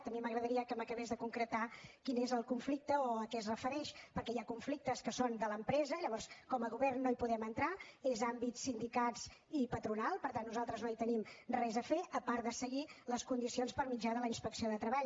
a mi m’agradaria que m’acabés de concretar quin és el conflicte o a què es refereix perquè hi ha conflictes que són de l’empresa i llavors com a govern no hi podem entrar és àmbit dels sindicats i patronal per tant nosaltres no hi tenim res a fer a part de seguir les condicions per mitjà de la inspecció de treball